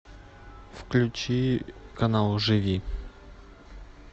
включи канал живи